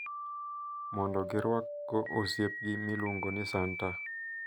Mondo girwak go osiepgi miluongo ni santa.